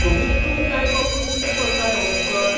कमीत कमी लायट वापरून कितें चलता रे हो कूकर!